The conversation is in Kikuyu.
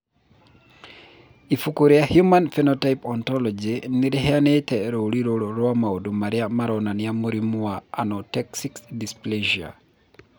Ibuku rĩa The Human Phenotype Ontology nĩ rĩheanĩte rũũri rũrũ rwa maũndũ marĩa maronania mũrimũ wa Anauxetic dysplasia.